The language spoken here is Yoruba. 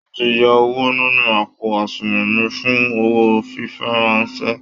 Wọ́n ti yọ owó nínú àpò àṣùnwọ̀n mi fún owó fífiránṣẹ́